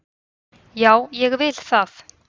Já, ég vil það.